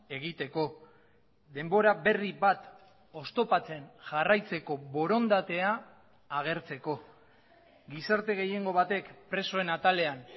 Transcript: egiteko denbora berri bat oztopatzen jarraitzeko borondatea agertzeko gizarte gehiengo batek presoen atalean